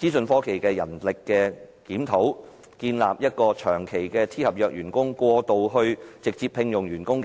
資訊科技人力檢討，建立機制由長期聘用 "T 合約"員工過渡至直接聘請員工。